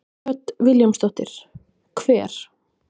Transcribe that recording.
Hödd Vilhjálmsdóttir: Hver?